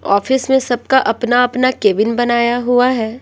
Office में सबका अपना-अपना केबिन बनाया हुआ है।